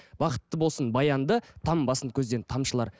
бақытты болсын болсын баянды тамбасын көзден тамшылар